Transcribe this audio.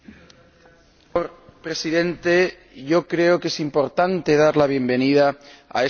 Señor Presidente, creo que es importante dar la bienvenida a este Acuerdo.